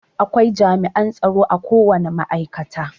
Akwai jami'an tsaro akowane ma'aikata.